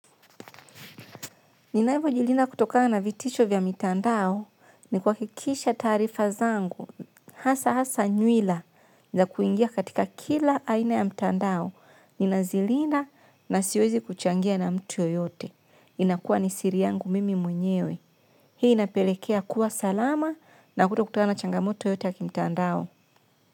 Ninavyojilinda kutokana vitisho vya mitandao, ni kuhakikisha taarifa zangu hasa nywila za kuingia katika kila aina ya mtandao ni nazilinda na siwezi kuchangia na mtu yeyote. Inakua ni siri yangu mimi mwenyewe. Hii inapelekea kuwa salama na kuto kutakana na changamoto yoyote ya kimtandao.